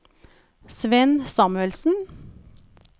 Svend Samuelsen